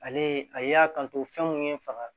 Ale ye a y'a kanto fɛn mun ye n faga